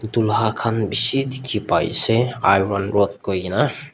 tunga kan besi teki pai ase iron rod koikina.